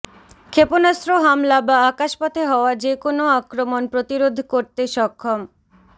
ক্ষেপণাস্ত্র হামলা বা আকাশপথে হওয়া যে কোনও আক্রমণ প্রতিরোধ করতে সক্ষম